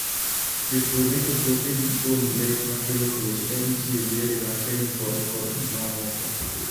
Jopur rito puothegi kuom le makelo tuoche ka gitiyo gi yore mag kemikal kod mamoko.